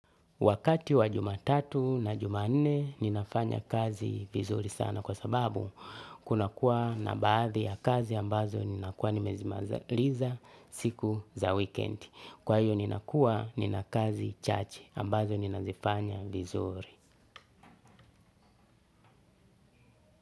Wakati wa Jumatatu na Jumanne ninafanya kazi vizuri sana kwa sababu kunakuwa na baadhi ya kazi ambazo ninakuwa nimezimaliza siku za weekend. Kwa hiyo nina kuwa nina kazi chachi ambazo ninazifanya vizuri.